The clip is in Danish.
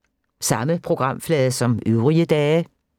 Samme programflade som øvrige dage